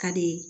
Ka di